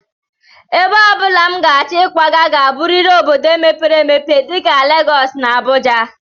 Ebe ọ bụla m ga-achọ ịkwaga ga-abụrịrị obodo mepere emepe dịka Legọs na Abuja